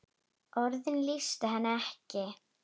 Orðin lýstu henni ekki.